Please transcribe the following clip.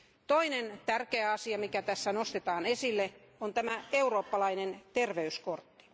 Toinen tärkeä asia, joka tässä nostetaan esille, on tämä eurooppalainen terveyskortti.